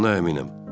Buna əminəm.